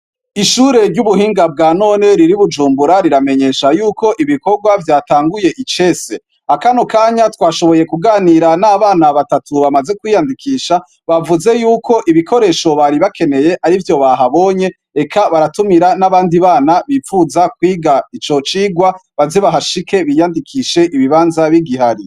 Ishure ry'ubuhinga bwa none riri Bujumbura riramenyesha yuko ibikorwa vyatanguye icese akano kanya twashoboye kuganira n'abana batatu bamaze kwiyandikisha bavuze yuko ibikoresho bari bakeneye ari vyo bahabonye reka baratumira n'abandi bana bipfuza kwiga ico cigwa bazibahashike biyandikishe ibibanza b'igihari.